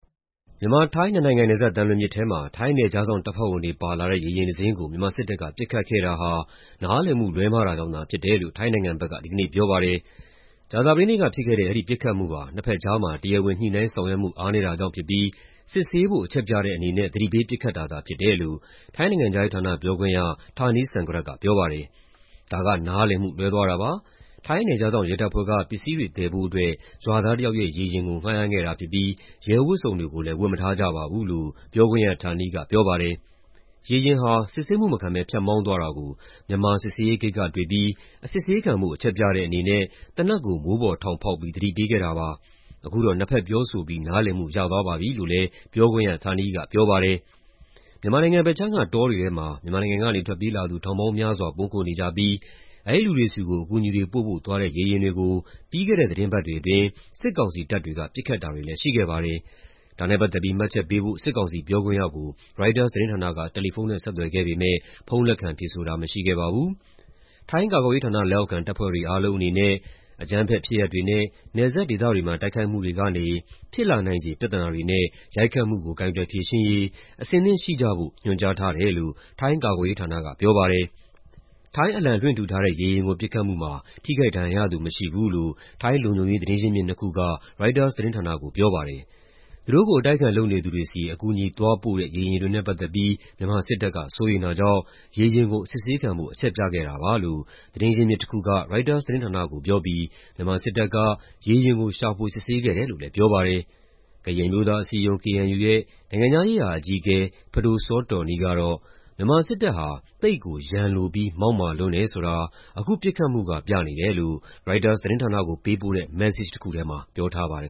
မြန်မာ-ထိုင်း နှစ်နိုင်ငံနယ်စပ် သံလွင်မြစ်ထဲမှာ ထိုင်း နယ်ခြားစောင့်တပ်ဖွဲ့ဝင်တွေ ပါလာတဲ့ ရေယာဉ်တစင်းကို မြန်မာစစ်တပ်က ပစ်ခတ်ခဲ့တာဟာ နားလည်မှု လွဲမှားတာကြောင့် ဖြစ်တယ်လို့ ထိုင်းနိုင်ငံဘက်က ဒီကနေ့ ပြောပါတယ်။ ကြာသပတေးနေ့ကဖြစ်ခဲ့တဲ့ အဲဒီပစ်ခတ်မှုဟာ နှစ်ဖက်ကြားမှာ တရားဝင် ညှိနှိုင်းဆောင်ရွက်မှု အားနည်းတာကြောင့်ဖြစ်ပြီး စစ်ဆေးဖို့ အချက်ပြတဲ့အနေနဲ့ သတိပေး ပစ်ခတ်တာသာ ဖြစ်တယ်လို့ ထိုင်းနိုင်ငံခြားရေးဌာန ပြောခွင့်ရ Tanee Sangrat က ပြောပါတယ်။ "ဒါက နားလည်မှုလွဲသွားတာပါ။ ထိုင်း နယ်ခြားစောင့်ရဲတပ်ဖွဲ့က ပစ္စည်းတွေသယ်ဖို့အတွက် ရွာသားတယောက်ရဲ့ ရေယာဉ်ကို ငှားရမ်းခဲ့တာဖြစ်ပြီး ရဲဝတ်စုံတွေကိုလည်း ဝတ်မထားကြပါဘူး" လို့ ပြောခွင့်ရ Tanee က ပြောပါတယ်။ "ရေယာဉ်ဟာ စစ်ဆေးမှုမခံဘဲ ဖြတ်မောင်းသွားတာကို မြန်မာစစ်ဆေးရေးဂိတ်က တွေ့ပြီး အစစ်ဆေးခံဖို့ အချက်ပြတဲ့အနေနဲ့ သေနတ်ကို မိုးပေါ်ထောင်ဖောက်ပြီး သတိပေးခဲ့တာပါ။ အခုတော့ နှစ်ဖက်ပြောဆိုပြီး နားလည်မှု ရသွားပါပြီ" လို့လည်း ပြောခွင့်ရ Tanee က ပြောပါတယ်။ မြန်မာဘက်ခြမ်းက တောတွေထဲမှာ မြန်မာနိုင်ငံကနေ ထွက်ပြေးလာသူ ထောင်ပေါင်းများစွာ ပုန်းခိုနေကြပြီး အဲဒီလူတွေဆီကို အကူအညီတွေပို့ဖို့ သွားတဲ့ ရေယာဉ်တွေကို ပြီးခဲ့တဲ့ သီတင်းပတ်တွေအတွင်း စစ်ကောင်စီတပ်တွေက ပစ်ခတ်တာတွေလည်း ရှိခဲ့ပါတယ်။ ဒါနဲ့ပတ်သက်ပြီး မှတ်ချက်ပေးဖို့ စစ်ကောင်စီပြောခွင့်ရကို ရိုက်တာသတင်းဌာနက တယ်လီဖုန်းနဲ့ ဆက်သွယ်ခဲ့ပေမယ့် ဖုန်းလက်ခံဖြေဆိုတာ မရှိခဲ့ပါဘူး။ ထိုင်းကာကွယ်ရေးဌာန လက်အောက်ခံ တပ်ဖွဲ့တွေအားလုံးအနေနဲ့ "အကြမ်းဖက်ဖြစ်ရပ်တွေနဲ့ နယ်စပ်ဒေသတွေမှာ တိုက်ခိုက်မှုတွေကနေ ဖြစ်လာနိုင်ခြေ ပြဿနာတွေနဲ့ ရိုက်ခတ်မှုကို ကိုင်တွယ်ဖြေရှင်းရေး အဆင်သင့်ရှိကြဖို့" ညွှန်ကြားထားတယ်လို့ ထိုင်းကာကွယ်ရေးဌာနက ပြောပါတယ်။ ထိုင်းအလံလွှင့်ထူထားတဲ့ ရေယာဉ်ကို ပစ်ခတ်မှုမှာ ထိခိုက်ဒဏ်ရာရသူ မရှိဘူးလို့ ထိုင်းလုံခြုံရေး သတင်းရင်းမြစ်နှစ်ခုက ရိုက်တာသတင်းဌာနကို ပြောပါတယ်။ "သူတို့ကို အတိုက်အခံ လုပ်နေသူတွေဆီ အကူအညီသွားပို့တဲ့ ရေယာဉ်တွေနဲ့ ပတ်သက်ပြီး မြန်မာစစ်တပ်က စိုးရိမ်တာကြောင့် ရေယာဉ်ကို အစစ်ဆေးခံဖို့ အချက်ပြခဲ့တာပါ" လို့ သတင်းရင်းမြစ်တခုက ရိုက်တာသတင်းဌာနကို ပြောပြီး မြန်မာစစ်တပ်က ရေယာဉ်ကို ရှာဖွေစစ်ဆေးခဲ့တယ်လို့လည်း ပြောပါတယ်။ ကရင်အမျိုးသားအစည်းအရုံး (KNU) ရဲ့ နိုင်ငံခြားရေးရာ အကြီးအကဲ ပဒိုစောတော်နီးကတော့ မြန်မာစစ်တပ်ဟာ "သိပ်ကို ရန်လိုပြီး မောက်မာလွန်းတယ်" ဆိုတာ အခုပစ်ခတ်မှုက ပြနေတယ်လို့ ရိုက်တာသတင်းဌာနကို ပေးပို့တဲ့ မက်ဆေ့ချ်တခုထဲမှာ ပြောထားပါတယ်